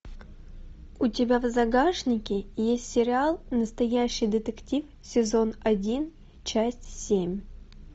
у тебя в загашнике есть сериал настоящий детектив сезон один часть семь